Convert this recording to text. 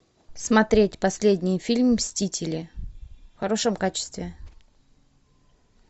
смотреть последний фильм мстители в хорошем качестве